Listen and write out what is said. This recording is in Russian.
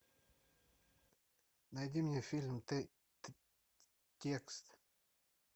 найди мне фильм текст